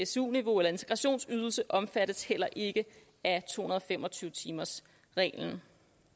su niveau eller integrationsydelse omfattes heller ikke af to hundrede og fem og tyve timersreglen